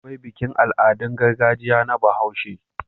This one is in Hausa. Akwai bikin Al'adun gargajiya na bahaushe